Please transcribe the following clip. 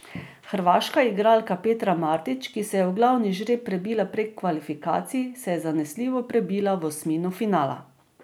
Hrvaška igralka Petra Martić, ki se je v glavni žreb prebila prek kvalifikacij, se je zanesljivo prebila v osmino finala.